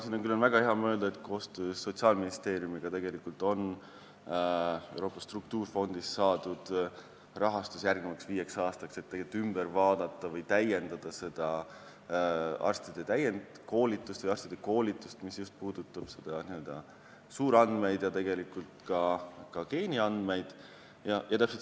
Siinkohal on mul küll väga hea meel öelda, et koostöös Sotsiaalministeeriumiga on Euroopa struktuurifondist saadud rahastus järgmiseks viieks aastaks, selleks et üle vaadata või täiendada arstide koolitust, mis puudutab just n-ö suurandmeid ja tegelikult ka geeniandmeid.